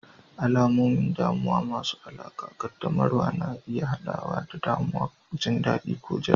Alamomin damuwa masu alaƙa ƙaddamarwa na iya haɗawa da damuwa, jin daɗi, ko jira.